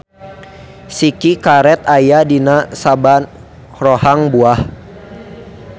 Siki karet aya dina saban rohang buah.